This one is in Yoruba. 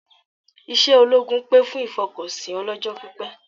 Iṣẹ́ ológun pè fún ìfọkànsìn ọlọ́jọ́pípẹ́